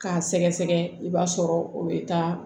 K'a sɛgɛsɛgɛ i b'a sɔrɔ o bɛ taa